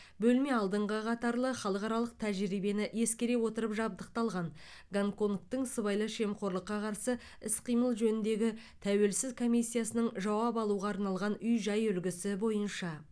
бөлме алдыңғы қатарлы халықаралық тәжірибені ескере отырып жабдықталған гонконгтың сыбайлас жемқорлыққа қарсы іс қимыл жөніндегі тәуелсіз комиссиясының жауап алуға арналған үй жай үлгісі бойынша